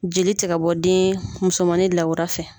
Jeli tɛ ka bɔ den musomanin lawura fɛ.